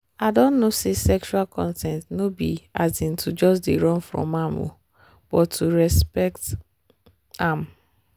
i don know say sexual consent no be um to just dey run from am um but to respect um am.